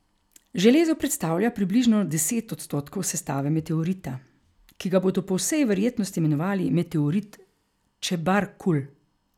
Železo predstavlja približno deset odstotkov sestave meteorita, ki ga bodo po vsej verjetnosti imenovali meteorit Čebarkul.